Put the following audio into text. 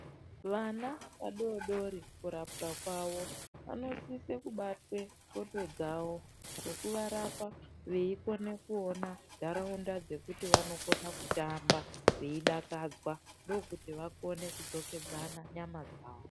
Vana vadodori kurapwa kwavo vanosise kubatwa ndxondo dzavo nekuvarapa veikone kuona nharaunda dzekuti vanokona kutambaveidakadzwa ndokuti vakone kudzokedzana nyama dzavo.